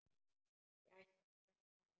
Ég ætla að skreppa heim.